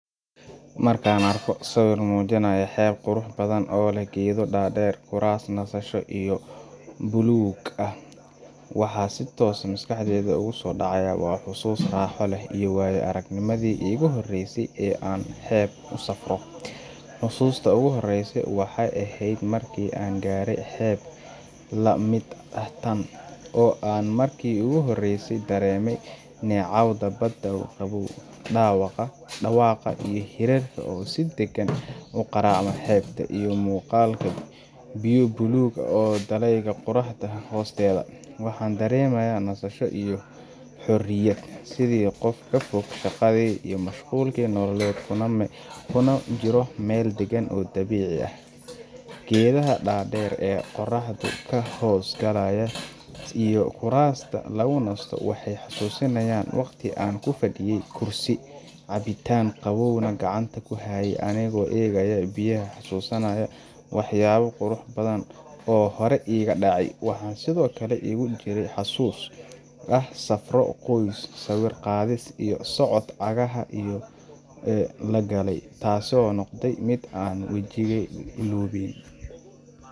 Marakan arko sawir mujinayo heeb qurux badan oo leh gedo dadeer kuras masasho iyo blue ah waxa si toss ah maskaxdeyda kusodeceysa xusus iyo wayo aragnimadi igujoreysay oo an hib usafro hususta oguhoreyso waxay ehed marki an garey heeb lamid ah taan, oo an marki iguhoreysay daremay nocawd badaa qawow dawaqaa iyo hirarka oo si dagan uqaracayo iyo mugaalkan biya bulug iyo daleyga hosteda, waxan daremata nasasho iyo horoya Sidhokale hof kafog shagadi iyo mashqulka nolaled kuna jiroo mel dagaan oo dabici ah, geedaha dader ee qoraxdu kahos galayo iyo kurasta lgunasto waxay hasusinayan wagti an kufaday kursi cabitaan qawow nah gacanta kuhaye anigo egayo biyaha hasusanayo oo horey dacay waxa sidhokale hasus ah safro qoys ah sawir qadis iyo socod iyo lagalay taasi oo nogday mid ay wajiga ilobay.